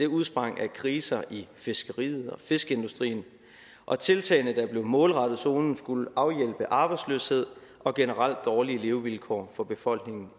udsprang af kriser i fiskeriet og fiskeindustrien og tiltagene der blev målrettet zonen skulle afhjælpe arbejdsløshed og generelt dårlige levevilkår for befolkningen